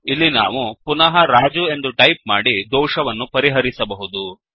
ಇಲ್ಲಿ ನಾವು ಪುನಃ ರಾಜು ಎಂದು ಟೈಪ್ ಮಾಡಿ ದೋಷವನ್ನು ಪರಿಹರಿಸಬಹುದು